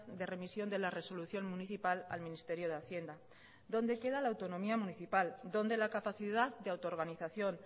de remisión de la resolución municipal al ministerio de hacienda dónde queda la autonomía municipal dónde la capacidad de autoorganización